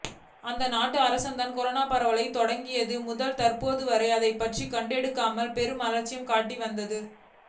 அந்நாட்டு அரசுதான் கொரோனா பரவத்தொடங்கியது முதல் தற்போது வரை அதைப் பற்றிக் கண்டுகொள்ளாமல் பெரும் அலட்சியம் காட்டி வந்தது